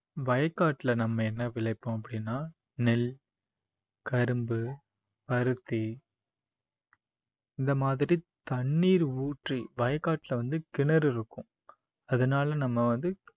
வயக்காட்டுல நம்ம என்ன விளைப்போம் அப்படின்னா நெல், கரும்பு, பருத்தி இந்த மாதிரி தண்ணீர் ஊற்றி வயக்காட்டுல வந்து கிணறு இருக்கும் அதனால நம்ம வந்து